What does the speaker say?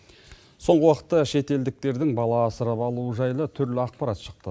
соңғы уақытта шетелдіктердің бала асырап алуы жайлы түрлі ақпарат шықты